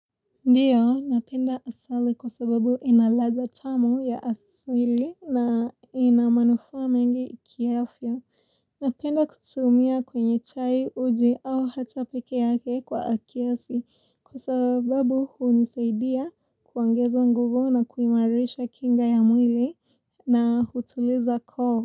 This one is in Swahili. Ndiyo, napenda asali kwa sababu inaladha tamu ya asili na inamanufa mengi kiafya. Napenda kutumia kwenye chai uji au hata peke yake kwa akiasi kwa sababu hunisaidia kuongeza nguvu na kuimarisha kinga ya mwili na hutuliza koo.